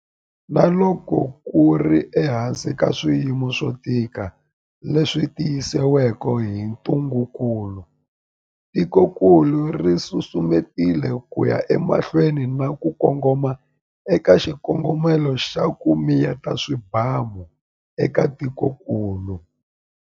Na loko ku ri ehansi ka swiyimo swo tika leswi tisiweke hi ntungukulu, tikokulu ri susumetile ku ya emahlweni na ku kongoma eka xikongomelo xa 'ku miyeta swibamu' eka tikokulu.